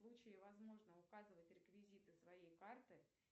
в случае возможно указывать реквизиты своей карты